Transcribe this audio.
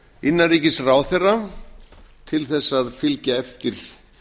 innanríkisráðherra til þess að fylgja eftir